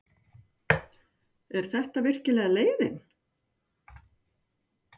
Er þetta virkilega leiðin?